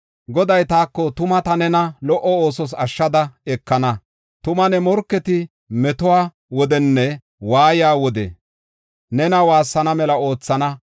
Goday taako, “Tuma ta nena lo77o oosos ashshada ekana. Tuma ne morketi metuwa wodenne waaye wode nena woossana mela oothana.